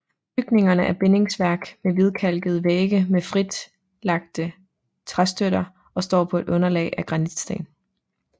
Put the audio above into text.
Bygningerne er bindingsværk med hvidkalkede vægge med fritlagte træstøtter og står på et underlag af granitsten